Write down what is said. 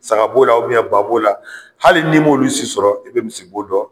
Saga bo la ubiyɛn ba b'o la hali n'i m'olu si sɔrɔ i be misi bo dɔ